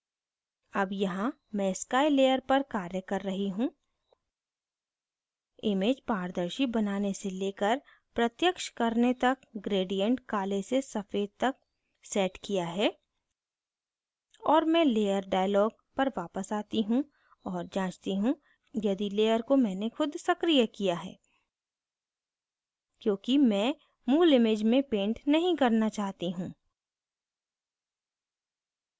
अब यहाँ मैं sky layer पर कार्य कर रही हूँ image पारदर्शी बनाने से layer प्रत्यक्ष करने तक gradient काले से सफ़ेद तक set किया है और मैं layer dialog पर वापस आती हूँ और जाँचती हूँ यदि layer को मैंने खुद सक्रीय किया है क्योंकि मैं मूल image में paint नहीं करना चाहती हूँ